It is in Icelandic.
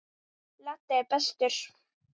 Laddi er bestur.